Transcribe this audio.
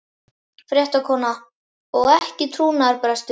Fréttakona: Og ekki trúnaðarbrestur?